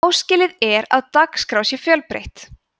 áskilið er að dagskrá sé fjölbreytt